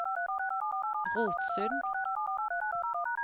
Rotsund